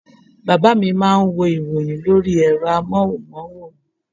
Bàbá mi má a nwo ìròyìn lórí ẹ̀rọ amóhunmáwòrán